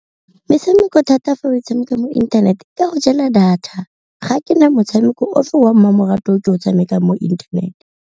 Metshameko thata fa o tshameka mo internet e go jela data, ga ke na motshameko o fe wa mmamoratwa o ke o tshamekang mo internet.